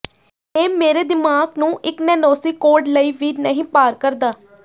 ਇਹ ਮੇਰੇ ਦਿਮਾਗ ਨੂੰ ਇਕ ਨੈਨੌਸੀਕੌਂਡ ਲਈ ਵੀ ਨਹੀਂ ਪਾਰ ਕਰਦਾ